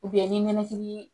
ni ninakili